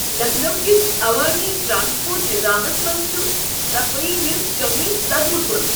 لکھنو کس عوٲمی ٹرانسپورٹ نِضامس منٛز چھ صفٲیی ہنٛز کٔمی صدمہٕ كُن۔